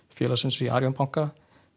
félagsins í Arion banka